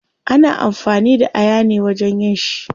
Ana amfani da aya ne wajen yin shi